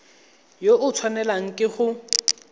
yo o tshwanelang ke go